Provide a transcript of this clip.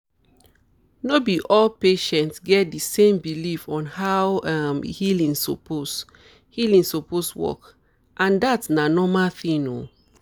no be all patients get di same belief on how um healing suppose um healing suppose work and um dat na normal thing um